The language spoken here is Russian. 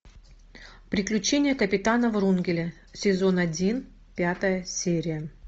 приключения капитана врунгеля сезон один пятая серия